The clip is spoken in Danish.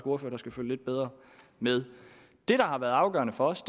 ordfører der skal følge lidt bedre med det der har været afgørende for os